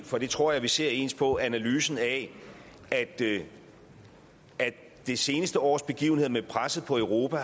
for det tror jeg vi ser ens på analysen af at det seneste års begivenheder med presset på europa